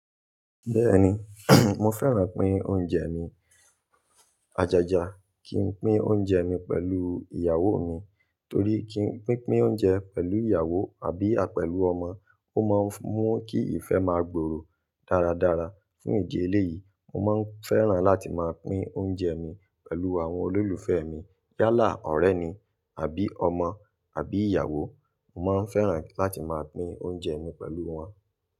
Bẹ́ẹ̀ni, mo fẹ́ràn pín oúnjẹ mi. Ajaja kí n pín oúnjẹ mi pẹ̀lú ìyàwó mi torí kí n, pin pín oúnjẹ pẹ̀lú ìyàwó àbí à, pẹ̀lú ọmọ, ó máa ń mú kí ìfẹ́ máa gbòòrò dáradára. Fún ìdí eléyìí, mo máa ń fẹ́ràn láti máa pín oúnjẹ mi pẹ̀lú àwọn olólùfẹ́ mi yálà ọ̀rẹ́ ni àbí ọmọ àbí ìyàwó, mo máa ń fẹ́ràn láti máa pín oúnjẹ mi pẹ̀lú wọn.